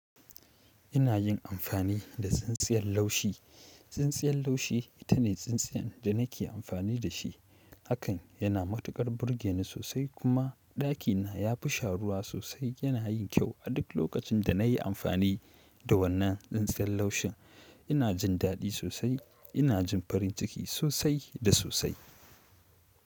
Ina yin amfani da tsintsiyar laushi. Tsintsiyar laushi ita ne tsintsiyan da nake amfani da shi. Hakan yana matuƙar burge ni sosai kuma ɗakina ya fi sharuwa sosai. Yana yin kyau. A duk lokacin da na yi amfani da wannan tsintsiyar laushin, ina jin daɗi sosai. Ina jin farin ciki sosai da sosai.